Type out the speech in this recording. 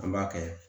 An b'a kɛ